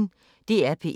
DR P1